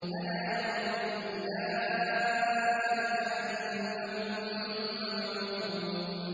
أَلَا يَظُنُّ أُولَٰئِكَ أَنَّهُم مَّبْعُوثُونَ